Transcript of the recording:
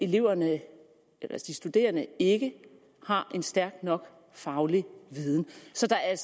de studerende ikke har en stærk nok faglig viden så der er